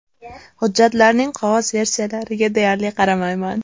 Hujjatlarning qog‘oz versiyalariga deyarli qaramayman.